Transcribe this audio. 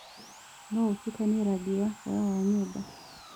no ũtũkanĩe rangĩ wa tawa wa nyũmba